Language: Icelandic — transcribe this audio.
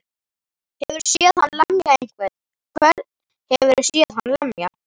Hefurðu séð hann lemja einhvern. hvern hefurðu séð hann lemja?